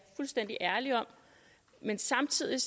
fuldstændig ærlig om men samtidig